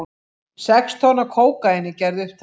Sex tonn af kókaíni gerð upptæk